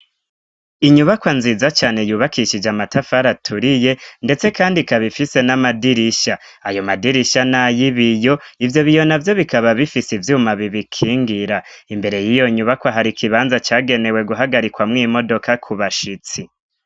Inyubakwa nziza cane yubakishije amatafari aturiye ndetse kandi ikaba ifise n'amadirisha ayo madirisha na y'ibiyo ivyo biyo navyo bikaba bifise ivyuma bibikingira imbere yiyo nyubakwa hari ikibanza cagenewe guhagarikwamwo imodoka ku bashitsi.